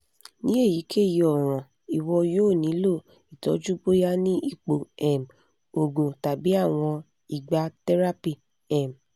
ni eyikeyi ọran iwọ yoo nilo itọju boya ni ipo um oogun tabi awọn igba therapy um